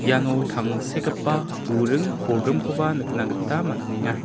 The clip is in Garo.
iano tangsekgipa buring bolgrimkoba nikna gita man·enga.